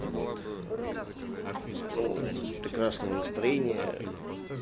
вот ну прекрасного настроения